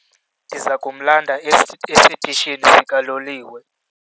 Ndiza kumlanda esitishini sikaloliwe.